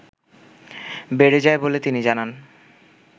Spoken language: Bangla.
বেড়ে যায় বলে তিনি জানান